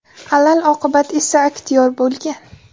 Alal oqibat esa aktyor bo‘lgan.